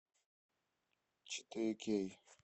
четыре кей